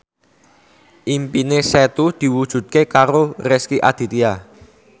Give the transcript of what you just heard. impine Setu diwujudke karo Rezky Aditya